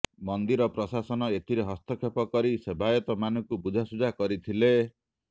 ମନ୍ଦିର ପ୍ରଶାସନ ଏଥିରେ ହସ୍ତକ୍ଷେପ କରି ସେବାୟତମାନଙ୍କୁ ବୁଝାସୁଝା କରିଥିଲେ